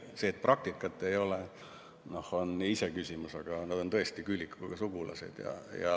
See, et praktikat ei ole, on iseküsimus, aga nad on tõesti küülikuga sugulased.